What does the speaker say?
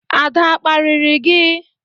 Ada a kparịrị gi?